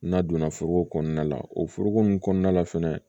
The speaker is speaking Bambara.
N'a donna foro kɔnɔna la o foroko nunnu kɔnɔna la fɛnɛ